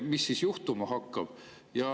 Mis siis juhtuma hakkab?